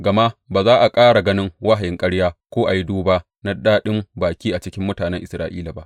Gama ba za a ƙara ganin wahayin ƙarya ko a yi duba na daɗin baki a cikin mutanen Isra’ila ba.